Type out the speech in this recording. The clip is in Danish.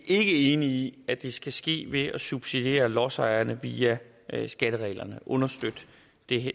ikke enige i at det skal ske ved at subsidiere lodsejerne via skattereglerne understøtte